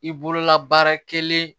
I bolola baara kelen